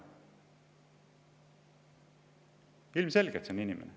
Ilmselgelt see on inimene.